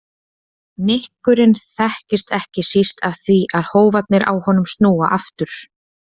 Nykurinn þekkist ekki síst af því að hófarnir á honum snúa aftur.